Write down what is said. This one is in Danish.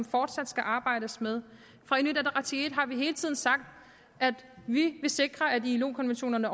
fortsat skal arbejdes med i har vi hele tiden sagt at vi vil sikre at ilo konventionerne